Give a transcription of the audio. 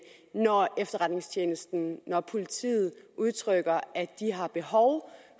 når efterretningstjenesten og politiet udtrykker at de har behov